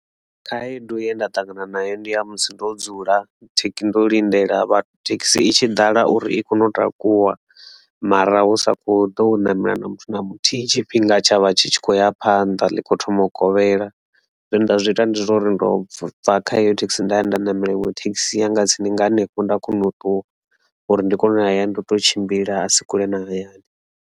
Khaedu ye nda ṱangana nayo ndi ya musi ndo dzula thekhisi ndo lindela vha thekhisi i tshi dala uri i kone u takuwa mara husa kho ḓo namela na muthu na muthihi tshifhinga tsha vha tshi tshi khou ya ya phanḓa ḽi kho thoma u kovhela zwe nda zwi ita ndi uri ndo bva kha heyo thekhisi nda ya nda ṋamela iṅwe thekhisi ya nga tsini nga hanefho nda kona u ṱuwa uri ndi kone u ya hayani ndo tou tshimbila a si kule na hayani.